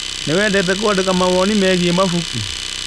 Nĩ wendete kũandĩka mawoni megie mabuku?